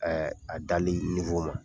a ma.